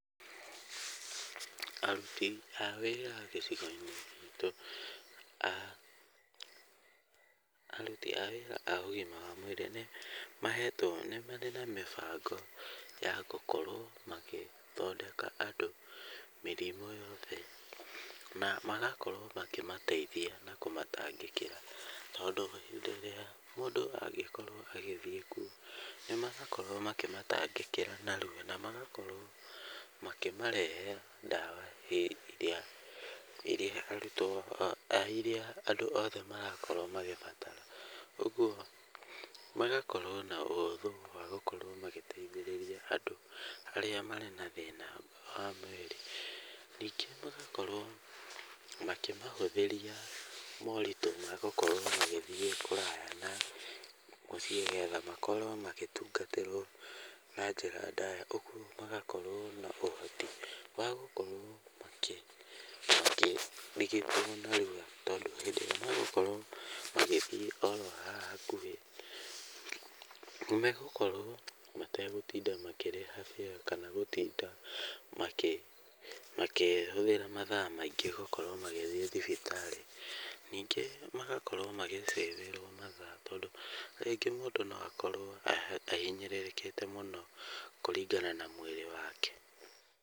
Aruti a wĩra gĩcigo-inĩ gitũ a aruti a wĩra a ũgima wa mwĩri nĩ marĩ na mĩbango ya gũkorwo magĩthondeka andũ mĩrimũ yothe, na magakorwo makĩmateithia na kũmatangĩkĩra. Tondũ ihinda rĩa mũndũ agĩkorwo agĩthiĩ kuo nĩ marakorwo makĩmatangĩkĩra narua na magakorwo na makamarehera ndawa irĩa andũ othe marakorwo magĩbatara. Ũguo magakorwo na ũhũthũ wa gũkorwo magĩteithĩrĩria andũ arĩa marĩ na thĩna wa mwĩrĩ. Ningĩ magakorwo makĩmahũthĩria moritũ magũkorwo magĩthiĩ kũraya na mũciĩ getha makorwo magĩtungatĩrwo na njĩra ndaya. Ũguo magakorwo na ũhoti wa gũkorwo makĩ tondũ hĩndĩ ĩrĩa megũkorwo magĩthiĩ oro haha hakuhĩ nĩ megũkorwo mategũtinda makĩrĩha fare kana gũtinda makĩhũthĩra mathaa maingĩ gũthiĩ thibitarĩ. Ningĩ magakorwo magĩ saving mathaa tondũ rĩngĩ mũndũ no akorwo ahinyĩrĩrĩkite muno kũringana na mwĩrĩ wake.